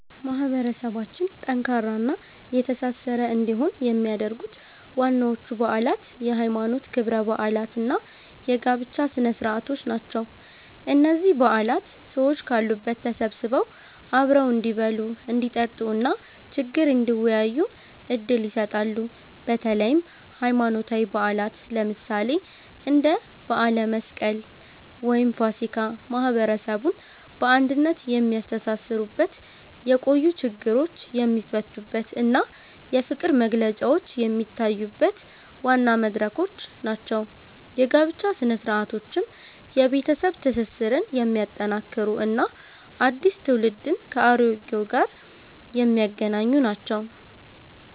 ማህበረሰባችን ጠንካራና የተሳሰረ እንዲሆን የሚያደርጉት ዋናዎቹ በዓላት የሃይማኖት ክብረ በዓላት እና የጋብቻ ስነ-ስርዓቶች ናቸው። እነዚህ በዓላት ሰዎች ካሉበት ተሰብስበው አብረው እንዲበሉ፣ እንዲጠጡ እና ችግር እንዲወያዩ ዕድል ይሰጣሉ። በተለይም ሃይማኖታዊ በዓላት፣ ለምሳሌ እንደ በዓለ መስቀል ወይም ፋሲካ፣ ማህበረሰቡን በአንድነት የሚያስተሳስሩበት፣ የቆዩ ችግሮች የሚፈቱበት እና የፍቅር መግለጫዎች የሚታዩበት ዋና መድረኮች ናቸው። የጋብቻ ሥነ-ስርዓቶችም የቤተሰብ ትስስርን የሚያጠናክሩ እና አዲስ ትውልድን ከአሮጌው ጋር የሚያገናኙ ናቸው።